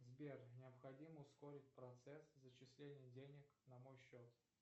сбер необходимо ускорить процесс зачисления денег на мой счет